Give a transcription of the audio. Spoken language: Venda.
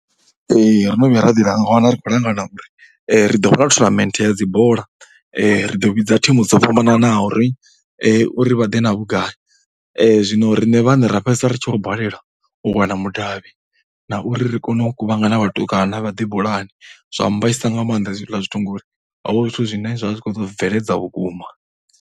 Ee, ro no vhuya ra ḓiwana ri khou langana uri ri ḓo vha na tournament ya dzi bola, ri ḓo vhidza thimu dzo fhambananaho uri na uri vha ḓe na vhugai. Zwino riṋe vhaṋe ra fhedzisela ri tshi khou balelwa u wana mudavhi na uri ri kone u kuvhangana vhatukana vha ḓe bolani. Zwa mmbaisa nga maanḓa hezwiḽa zwithu ngauri ho vha hu zwithu zwine ḓo zwi bveledza vhukuma.